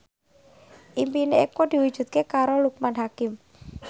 impine Eko diwujudke karo Loekman Hakim